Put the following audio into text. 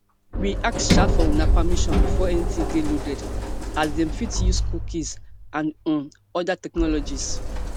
we ask um for una permission before anytin dey loaded as dem fit dey use cookies and um oda technologies